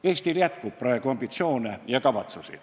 Eestil jätkub praegu ambitsioone ja kavatsusi.